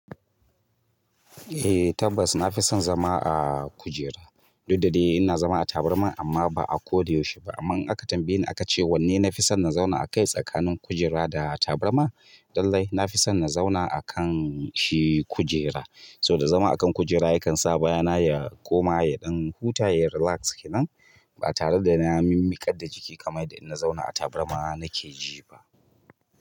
Eh tabbas na fi san zama a kujera. Duk da dai ina zama a tabarma amma ba a ko da yaushe ba. Amma in aka tambaye ni aka ce wanne na fi son na zauna a kai tsakanin kujera da tabarma. Dallai na fi son na zauna a kan shi kujera. Saboda zama a kan kujera ya kan sa baya na ya koma yaɗan huta ya relax kenan. Ba tare da na mimmiƙar da jiki kamar yadda inna zauna a tabarma nake ji ba.